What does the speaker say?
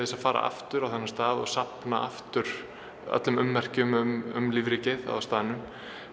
að fara aftur á þennan stað og safna aftur öllum ummerkjum um lífríkið á staðnum